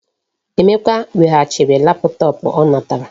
Emeka weghachiri laptop o natara.